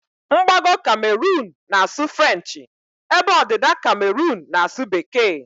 Mgbago Cameroon na asụ frenchi ebe ọdịda Cameroon n'asu bekee